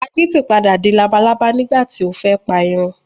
Akítì paradà di labalábá nígbàti o fẹ́ pa eerin